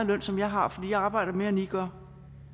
løn som jeg har for jeg arbejder mere end i gør